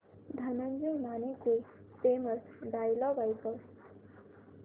धनंजय मानेचे famous dialogue ऐकव